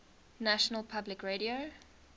national public radio